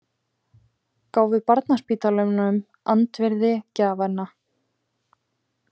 Gáfu barnaspítalanum andvirði gjafanna